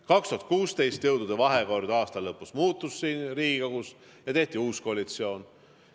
2016. aasta lõpus jõudude vahekord Riigikogus muutus ja tehti uus koalitsioon.